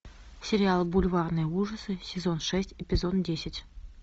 сериал бульварные ужасы сезон шесть эпизод десять